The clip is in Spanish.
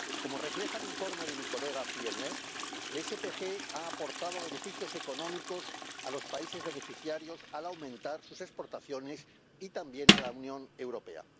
Como refleja el informe de mi colega Fjellner, el SPG ha aportado beneficios económicos a los países beneficiarios, al aumentar sus exportaciones, y también a la Unión Europea.